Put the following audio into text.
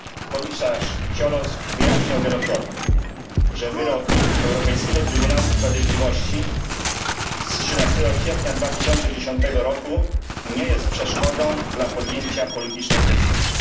Komisarz Cioloş wyjaśniał wielokrotnie, że wyrok Europejskiego Trybunału Sprawiedliwości z 13 kwietnia 2011 roku nie jest przeszkodą dla podjęcia politycznej decyzji.